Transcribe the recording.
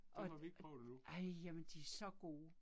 Og ej jamen de er så gode